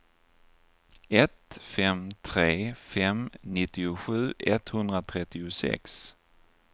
ett fem tre fem nittiosju etthundratrettiosex